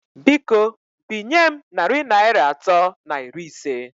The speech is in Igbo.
Biko, binye m narị Naịra atọ na iri isé